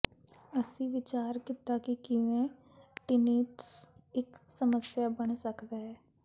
ਅਸੀਂ ਵਿਚਾਰ ਕੀਤਾ ਕਿ ਕਿਵੇਂ ਟਿੰਨੀਟਸ ਇੱਕ ਸਮੱਸਿਆ ਬਣ ਸਕਦਾ ਹੈ